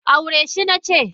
aure shi nace!